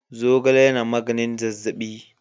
Zogale yana magnin zazzabi.